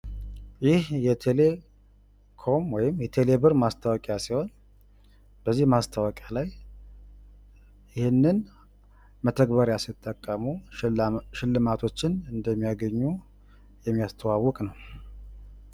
ይህ ምስል የኢትዮቴሌኮም ወይም የቴሌ ብር ማስታወቂያ ሲሆን ፤ በዚህ ማስታወቂያ ላይ ቴሌ ብርን ሲጠቀሙ ሽልማት እንደሚያገኙ ይናገራል።